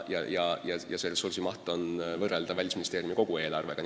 Selle ressursi maht on võrreldav Välisministeeriumi kogu eelarvega.